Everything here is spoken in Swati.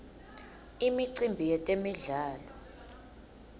imicimbi yetemdlalo